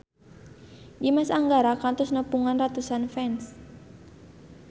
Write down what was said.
Dimas Anggara kantos nepungan ratusan fans